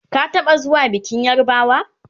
ka taɓa zuwa bikin yarbawa?